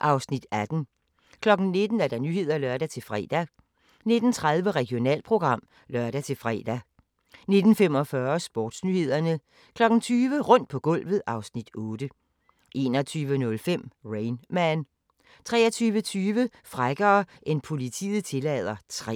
(Afs. 18) 19:00: Nyhederne (lør-fre) 19:30: Regionalprogram (lør-fre) 19:45: Sportsnyhederne 20:00: Rundt på gulvet (Afs. 8) 21:05: Rain Man 23:20: Frækkere end politiet tillader III